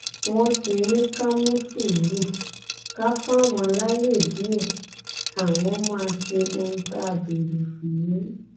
wọn ti ní ká mú sùúrù ká fáwọn láàyè díẹ àwọn máa ṣe ohun tá a béèrè fún